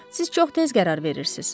Siz çox tez qərar verirsiniz.